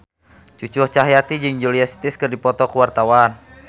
Cucu Cahyati jeung Julia Stiles keur dipoto ku wartawan